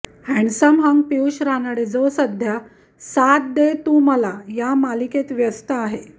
handsome hunk Piyush Ranade जो सध्या साथ दे तू मला मालिकेत व्यस्त आहे